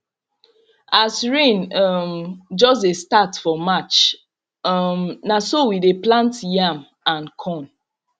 as rain um just dey start for march um na so we dey plant yam and corn